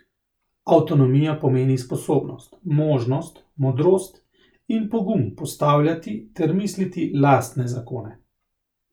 Avtonomija pomeni sposobnost, možnost, modrost in pogum postavljati ter misliti lastne zakone.